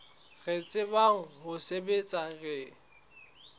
re tsebang ho sebetsa re